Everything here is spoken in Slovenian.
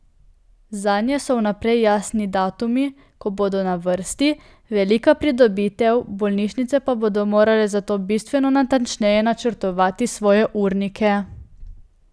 Zanje so vnaprej jasni datumi, ko bodo na vrsti, velika pridobitev, bolnišnice pa bodo morale zato bistveno natančneje načrtovati svoje urnike.